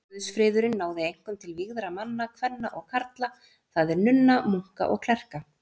Guðsfriðurinn náði einkum til vígðra manna, kvenna og karla, það er nunna, munka og klerka.